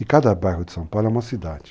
E cada bairro de São Paulo é uma cidade.